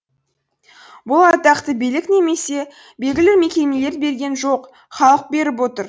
бұл атақты билік немесе белгілі мекемелер берген жоқ халық беріп отыр